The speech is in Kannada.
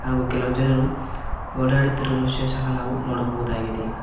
ಹಾಗು ಕೆಲವು ಜನರು ಓಡಾಡುತ್ತಿರುವ ದೃಶ್ಯ ಸಹ ನೋಡಬಹುದಾಗಿದೆ.